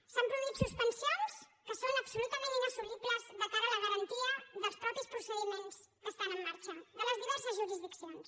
s’han produït suspensions que són absolutament inassumibles de cara a la garantia dels mateixos procediments que estan en marxa de les diverses jurisdiccions